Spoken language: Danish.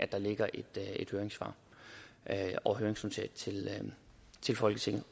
der ligger et høringssvar og høringsnotat til folketinget